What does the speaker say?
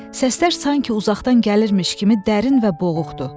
Səslər sanki uzaqdan gəlirmiş kimi dərin və boğuqdur.